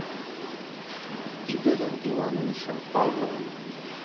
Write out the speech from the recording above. игорем ивановичем павловым